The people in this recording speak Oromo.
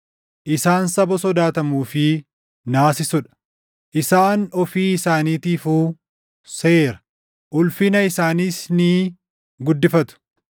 Isaan saba sodaatamuu fi naasisuu dha; isaan ofii isaaniitiifuu seera; ulfina isaaniis ni guddifatu.